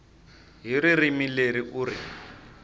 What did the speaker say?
hi ririmi leri u ri